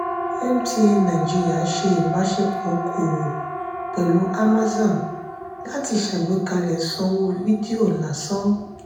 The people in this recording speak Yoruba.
mtn nàìjíríà ṣe ibasepọ òkòwò pẹlu amazon láti ṣàgbékalẹ̀ sanwó vidio lásán.